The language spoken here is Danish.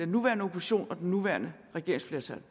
nuværende opposition og det nuværende regeringsflertal